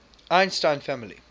einstein family